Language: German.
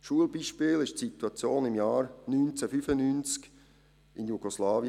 Schulbeispiel war die Situation im Jahr 1995 in Jugoslawien.